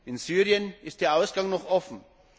In Syrien ist der Ausgang noch offen.